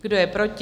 Kdo je proti?